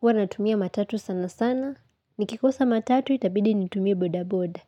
Huwanatumia matatu sana sana. Nikikosa matatu itabidi nitumia boda boda.